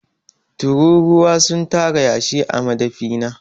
Tururuwa sun tara yashi a madafi na.